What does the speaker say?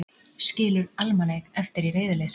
Skilur almannaeign eftir í reiðileysi.